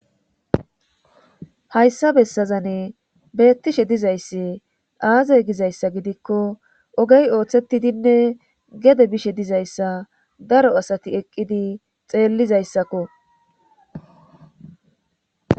hayssa bessazane beettishe dizaysse aazay gizayssa gidikko ogey ooththetidinne gede bishe dizayssa daro asati eqqidi xeellizayssakko